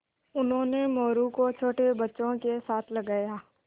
उन्होंने मोरू को छोटे बच्चों के साथ लगाया